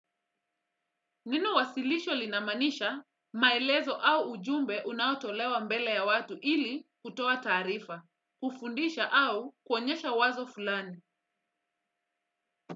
Neno wasilisho linamaanisha maelezo au ujumbe unaotolewa mbele ya watu ili kutoa taarifa, kufundisha au kuonyesha wazo fulani.